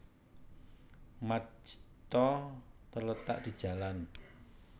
Majta terletak di Jalan